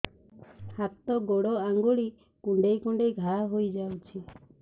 ହାତ ଗୋଡ଼ ଆଂଗୁଳି କୁଂଡେଇ କୁଂଡେଇ ଘାଆ ହୋଇଯାଉଛି